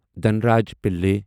Dhanraj Pillay